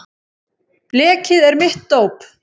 Blekið er mitt dóp.